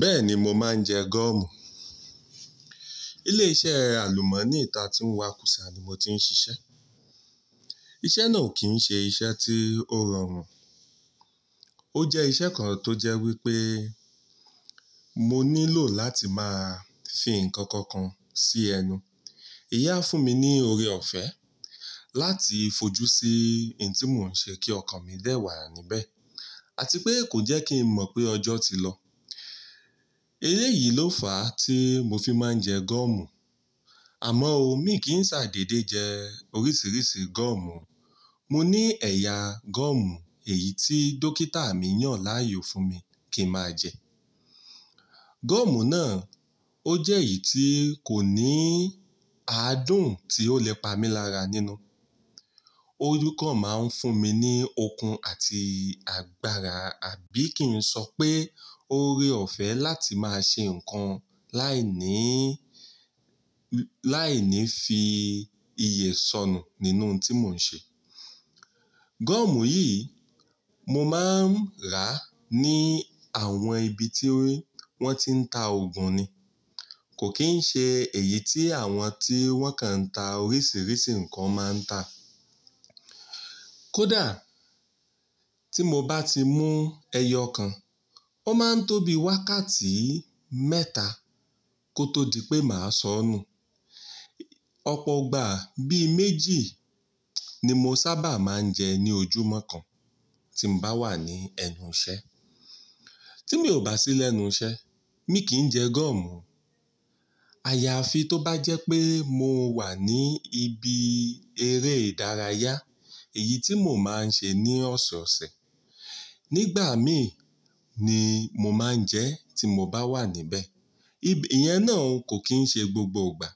Bẹ́ẹ̀ni mo máa ń jẹ gọ́ọ̀mù. Ilé iṣẹ́ àlùmọ́nì tán tí ń wa kùsà ni mo ti ń ṣiṣẹ́. Iṣẹ́ náà kì ń ṣe iṣẹ́ tí ó rọrùn. Ó jẹ́ iṣẹ́ kan tó jẹ́ wípé mo nílò láti máa fi ǹkan kan kan sí ẹnu. Ìyẹn á fún mi ní oore ọ̀fẹ́ láti fojú sí ohun tí mò ń ṣe kí ọkàn mi dẹ̀ wà níbẹ̀ àti pé kó jẹ́ kí n mọ̀ pé ọjọ́ ti lọ. Eléyìí yìí ló fà á tí mo fi máa ń jẹ gọ́ọ̀mù. Àmọ́ ò mi kì í ṣà dédé jẹ oríṣiríṣi gọ́ọ̀mù. Mo ní ẹ̀yà gọ́ọ̀mù èyí tí dókítà mi yàn láàyò fún mi kí n máa jẹ. Gọ́ọ̀mù náà ó jẹ́ èyí tí kò ní adùn tí ó lè pa mí lára nínú. Ó kàn máa ń fún mi ní okun àti agbára àbí kí n sọ pé oore- ọ̀fẹ́ láti máa ṣe ǹkan láìní, láìní fi iyè sọnù nínú ohun tí mò ń ṣe. Gọ́ọ̀mù yìí, mo máa ń rà á ní àwọn ibi tí wọ́n ti ń ta òògùn ni. Kò kì í ṣe èyí tí àwọn tí wọ́n kan ń ta oríṣiríṣi nǹkan máa ń tà. Kódà tí mo bá ti mú ẹyọ kan, ó máa ń tóbi wákàtí mẹ́ta kó tó di pé màá sọ ọ́ nù. Ọ̀pọ̀ ìgbà bíi méjì ni mo sábà máa ń jẹ ní ojúmọ́ kan tí mo bá wà ní ẹnu iṣẹ́. Tí mi ò bá sí lẹ́nu iṣẹ́, mi kì í jẹ gọ́ọ̀mù. Àyàfi tó bá jẹ́ pé mo wà ní ibi eré ìdárayá, èyí tí mò máa ń ṣe ní ọ̀sọ̀ọ̀sẹ̀. Nígbà míì ni mo máa ń jẹ ẹ́ tí mo bá wà níbẹ̀. Ìyẹn náà kò kì í ṣe gbogbo ìgbà.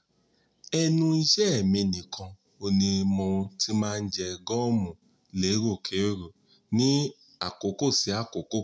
Ẹnu iṣẹ́ mi nìkan ni mo ti máa ń jẹ gọ́ọ̀mù léèròkèèrò ní àkókò sí àkókò.